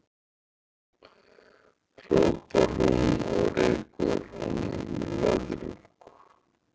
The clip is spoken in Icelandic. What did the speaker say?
hrópar hún og rekur honum löðrung.